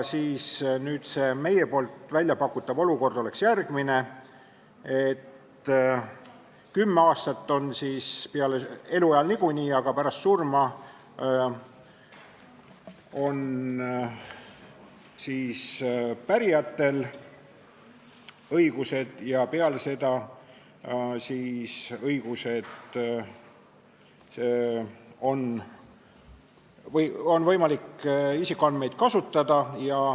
Meie pakutav olukord on järgmine, et kümme aastat ja andmesubjekti eluajal nagunii, aga pärast surma on õigused pärijatel ja peale seda on siis võimalik isikuandmeid kasutada.